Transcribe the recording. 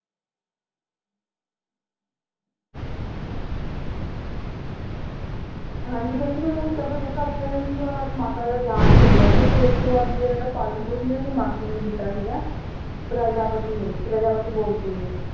ਹਾਂਜੀ ਕਹਿੰਦੇ ਜਦੋਂ ਇਹ ਕੇਵਲ ਇੱਕ ਹਫ਼ਤੇ ਦੇ ਸੀਗੇ ਉਹਨਾਂ ਦੀ ਮਾਤਾ ਦਾ ਦਿਹਾਂਤ ਹੋ ਗਿਆ ਸੀ ਫਿਰ ਉਸ ਤੋਂ ਬਾਅਦ ਜਿਹੜਾ ਇਹਦਾ ਪਾਲਣ ਪੋਸ਼ਣ ਇਹਨਾਂ ਦੀ ਮਾਸੀ ਨੇ ਕੀਤਾ ਸੀਗਾ ਪ੍ਰਜਾਪਤੀ ਨੇ ਪ੍ਰਜਾਪਤੀ ਗੋਮਤੀ ਨੇ